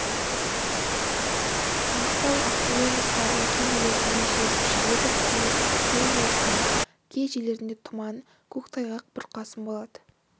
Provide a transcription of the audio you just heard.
маңғыстау ақтөбе облыстарының кей жерлерінде жел күшейеді күндіз ақтөбе олысының кей жерлерінде тұман көктайғақ бұрқасын болады